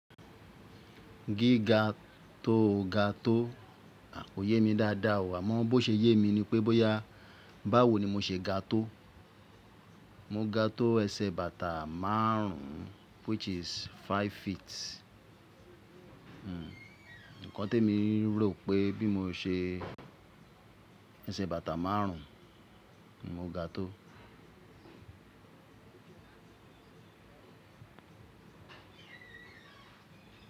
Gíga tó ga tó ò ko yé mi dáadáa o, àmọ́ bó ṣe yé mi ni pé bóyá báwo ni mo ṣe ga tó, mo ga tó ẹsẹ̀ bàtà márùn-ún which is five feet. Nǹkan temi mo rò pé bí mo ṣe ẹsẹ̀ bàtà márùn-ún mo ga tó.